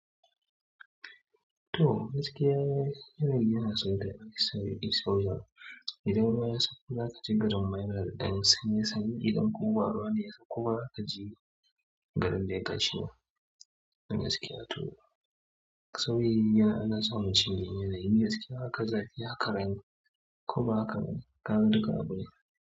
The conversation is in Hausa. To, gaskiya yanayi yana son da exposure. Idan waya sakku za ka je garin mineral ɗin sanye sanyi, idan ƙuwa rana ya sauƙu, za ka je garin da ya tashi ne. To gaskiya to sauyi an dan samu shine yanayi duk abune.